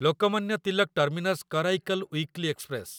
Lokmanya Tilak terminus Karaikal weekly express